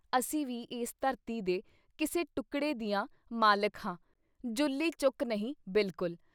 ਅਸੀਂ ਵੀ ਇਸ ਧਰਤੀ ਦੇ ਕਿਸੇ ਟੁਕੜੇ ਦੀਆਂ ਮਾਲਿਕ ਹਾਂ, ਜੁੱਲੀ ਚੁੱਕ ਨਹੀਂ, ਬਿਲਕੁੱਲ!